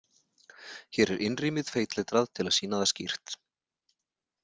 Hér er innrímið feitletrað til að sýna það skýrt.